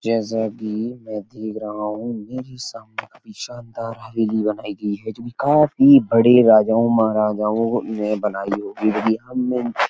जैसा कि मैं देख रहा हूँ मेरे सामने काफी शानदार हवेली बनायीं गई है जो कि काफी बड़े राजाओं महाराजओं ने बनाई होगी क्योंकी हमने इन --